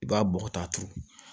I b'a bɔgɔ ta turu